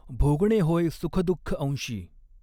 भोगणे होय सुखदुःखअंशी।